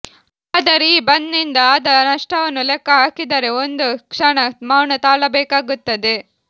ಆದರೆ ಈ ಬಂದ್ ನಿಂದ ಆದ ನಷ್ಟವನ್ನು ಲೆಕ್ಕಹಾಕಿದರೆ ಒಂದು ಕ್ಷಣ ಮೌನ ತಾಳಬೇಕಾಗುತ್ತದೆ